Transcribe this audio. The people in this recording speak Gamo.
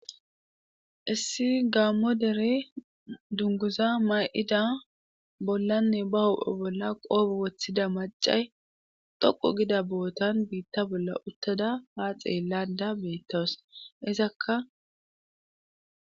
Issi gaammo dere dunguza ma7ida bollanne ba hophe bolla qoobo woththida macay dhoqu gida bo7otan biitta bolla uttada haa xeellada beettows izakka.